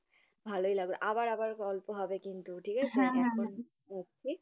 ভালোই লাগে আবার আবার গল্প হবে কিন্তু ঠিক আছে, এখন রাখি?